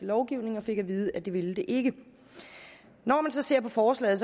lovgivning og fik at vide at det ville det ikke når man så ser på forslaget